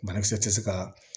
Banakisɛ tɛ se ka